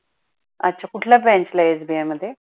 अच्छा कुठल्या branch ला आहे SBI मध्ये?